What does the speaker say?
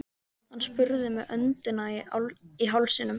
Hann spurði með öndina í hálsinum.